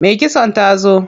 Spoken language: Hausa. Me kitson ta zo.